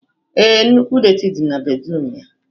Ee, nnukwu detị dị na bedruum ya